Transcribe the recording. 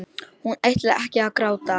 Hún ætlar ekki að gráta.